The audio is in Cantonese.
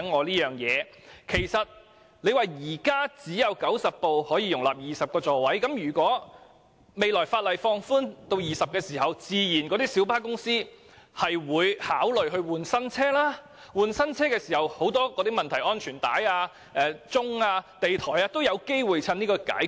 當局指現時只有90輛小巴可以容納20個座位，但如果日後法例把座位上限放寬至20個，小巴公司自然會考慮更換新車，屆時安全帶、按鐘及地台等問題均有機會一一解決。